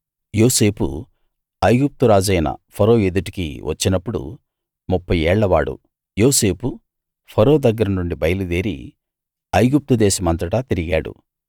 యోసేపు ఐగుప్తు రాజైన ఫరో ఎదుటికి వచ్చినప్పుడు ముప్ఫై ఏళ్లవాడు యోసేపు ఫరో దగ్గరనుండి బయలుదేరి ఐగుప్తు దేశమంతటా తిరిగాడు